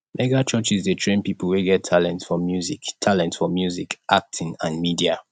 mega churches de train pipo wey get talent for music talent for music acting and media